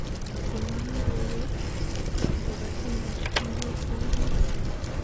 Kona logoiwek akobotyendo neketrompen.